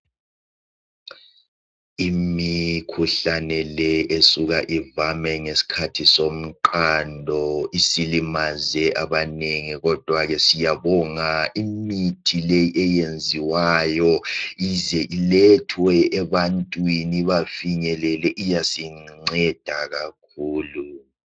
Imikhuhlane le esuka ivame ngesikhathi somqando isilimaze abanengi. Kodwa siyabonga imithi le eyenziwayo ize ilethwe ebantwini ibafinyelele iyasinceda kakhulu.